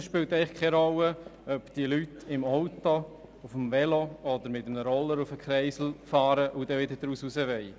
Es spielt eigentlich keine Rolle, ob die Leute im Auto, auf dem Velo oder mit einem Roller in den Kreisel hineinfahren und dann wieder hinausfahren wollen.